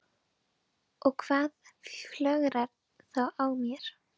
Og hvað flögrar þá að mér?